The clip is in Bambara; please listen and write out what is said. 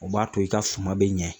O b'a to i ka suma bɛ ɲɛ